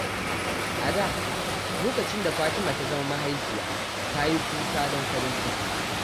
A da, lokacin da Fatima ta zama mahaifiya, ta yi kuka don farin ciki.